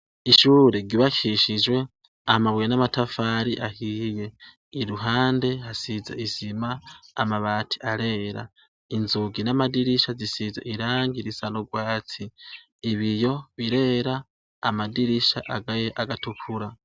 Ishure ryubakishijwe amabuye namatafari iruhande hasize isima amabati arera inzugi namadirisha bisize irangi risa nurwatsi ibiyo birera amadirisha aratukura